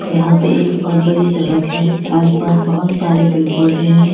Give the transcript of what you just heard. यहां पर एक बहोत बड़ी सड़क है आसपास बहोत सारे पेड़ पौधे हैं।